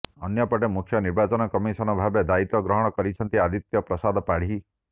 ଅନ୍ୟପଟେ ମୁଖ୍ୟ ନିର୍ବାଚନ କମିସନ ଭାବେ ଦାୟିତ୍ୱ ଗ୍ରହଣ କରିଛନ୍ତି ଆଦିତ୍ୟ ପ୍ରସାଦ ପାଢୀ